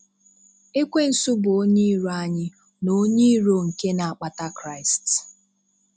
Ekwensu bụ onye iro anyị na onye iro nke na-akpata Kraịst.